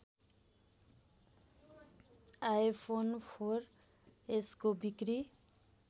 iPhone four एसको बिक्री